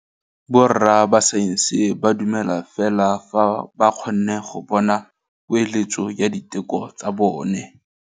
Borra saense ba dumela fela fa ba kgonne go bona poeletsô ya diteko tsa bone.